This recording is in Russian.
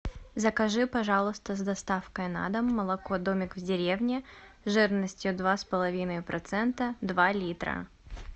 закажи пожалуйста с доставкой на дом молоко домик в деревне жирностью два с половиной процента два литра